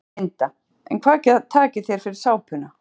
Linda: En hvað takið þér fyrir sápuna?